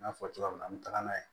N y'a fɔ cogoya min na an bɛ taga n'a ye